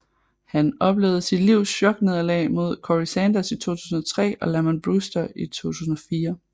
Han oplevede sit livs choknederlag mod Corrie Sanders i 2003 og Lamon Brewster i 2004